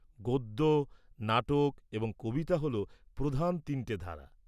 -গদ্য, নাটক এবং কবিতা হল প্রধান তিনটে ধারা।